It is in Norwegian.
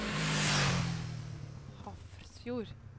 Hafrsfjord